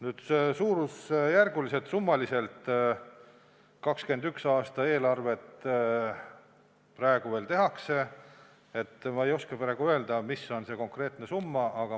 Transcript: Nüüd, suurusjärguliselt, summaliselt 2021. aasta eelarvet alles tehakse, nii et ma ei oska praegu öelda, mis on see konkreetne summa.